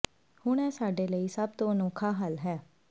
ਹੁਣ ਇਹ ਸਾਡੇ ਲਈ ਸਭ ਤੋਂ ਅਨੋਖਾ ਹੱਲ ਹੈ